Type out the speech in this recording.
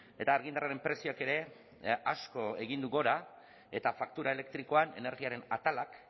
eta argindarraren prezioak ere asko egin du gora eta faktura elektrikoan energiaren atalak